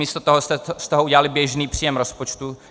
Místo toho jste z toho udělali běžný příjem rozpočtu.